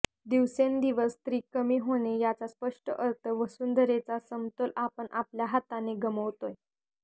दिवसेंदिवस स्त्री कमी होणे याचा स्पष्ट अर्थ वसुंधरेचा समतोल आपण आपल्या हाताने गमावतोय